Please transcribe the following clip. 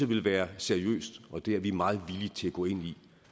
ville være seriøst og det er vi meget villige til at gå ind i